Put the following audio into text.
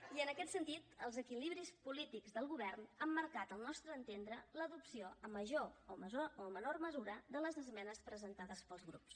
i en aquest sentit els equilibris polítics del govern han marcat al nostre entendre l’adopció en major o menor mesura de les esmenes presentades pels grups